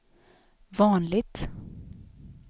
vanligt